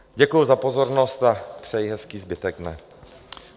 Děkuji za pozornost a přeji hezký zbytek dne.